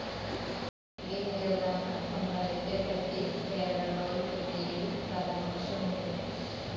ഈ നിരോധന സമ്പ്രദായത്തെപ്പറ്റി കേരളോൽപ്പത്തിയിൽ പരമാർശമുണ്ട്.